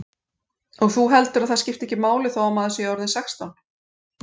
Og þú heldur að það skipti ekki máli þó að maður sé ekki orðinn sextán?